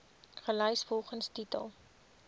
gelys volgens titel